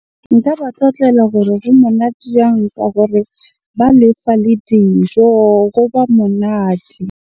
Nka ba tlotlela gore monate ka gore ba lefa le dijo, goba monate.